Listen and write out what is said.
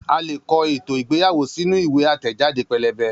A leè kọ ètò ìgbéyàwó sínú ìwé àtẹẹ̀jáde pẹ́lẹ́bẹ́